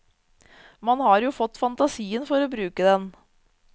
Man har jo fått fantasien for å bruke den.